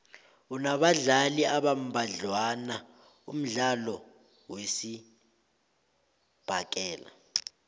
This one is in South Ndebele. unabadlali abambadlwana umdlalo wesibhakela